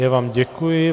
Já vám děkuji.